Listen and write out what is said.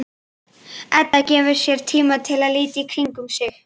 Edda gefur sér tíma til að líta í kringum sig.